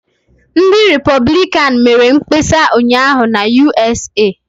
Ndị Repọblikan mere mkpesa ụnyaahụ na USA.